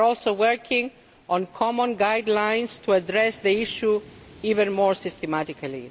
We are also working on common guidelines to address the issue even more systematically.